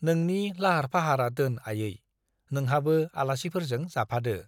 नोंनि लाहार फाहारा दोन आयै, नोंहाबो आलासिफोरजों जाफादो ।